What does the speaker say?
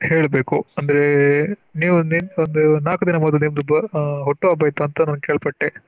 ಹೇಳಬೇಕು ಅಂದ್ರೆ ನೀವು ಒಂದು ನಾಲ್ಕು ದಿನ ಮೊದ್ಲು ನಿಮ್ದು ಆ ಹುಟ್ಟುಹಬ್ಬ ಅಂತ ನಾನ್ ಕೇಳ್ಪಟ್ಟೆ.